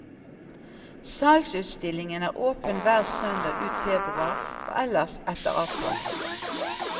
Salgsutstillingen er åpen hver søndag ut februar og ellers etter avtale.